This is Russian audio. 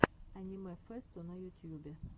аниме фэсту на ютьюбе